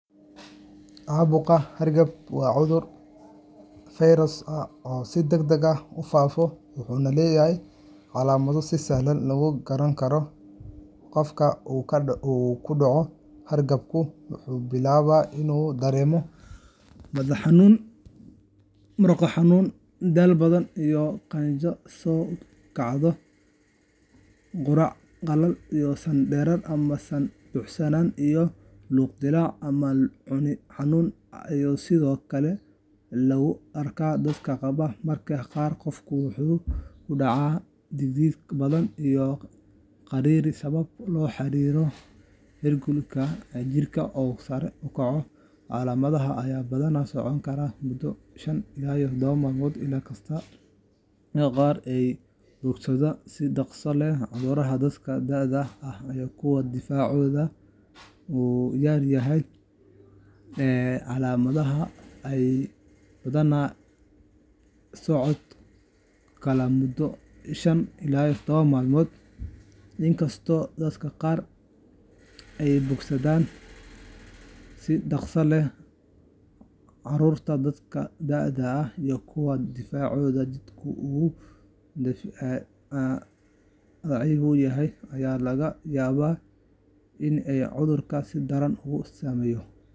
Caabuqa hargabka waa cudur fayras ah oo si degdeg ah u faafo, wuxuuna leeyahay calaamado si sahlan lagu garan karo. Qofka uu ku dhaco hargabku wuxuu bilaabaa inuu dareemo madax xanuun, murqo xanuun, daal badan, iyo qandho soo kacda. Qufac qalalan, san-dareer ama san-buuxsanaan, iyo luq-dillaac ama cune xanuun ayaa sidoo kale lagu arkaa dadka qaba. Mararka qaar qofka waxaa ku dhaca dhidid badan iyo gariir sabab la xiriirta heerkulka jirka oo sare u kaco. Calaamadahan ayaa badanaa socon kara muddo shan ilaa todoba maalmood, in kastoo dadka qaar ay ka bogsadaan si dhaqso leh. Carruurta, dadka da’da ah, iyo kuwa difaacooda jidhka uu daciif yahay ayaa laga yaabaa in ay cudurku si daran ugu saameeyo.